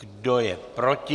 Kdo je proti?